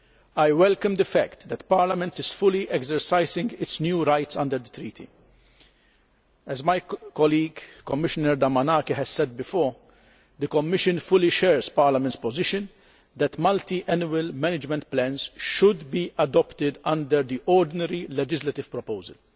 I welcome the fact that Parliament is fully exercising its new rights under the Treaty. As my colleague, Commissioner Damanaki, has said before, the Commission fully shares Parliament's position that multiannual management plans should be adopted under the ordinary legislative proposal.